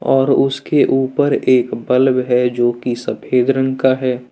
और उसके ऊपर एक बल्ब है जो कि सफेद रंग का है।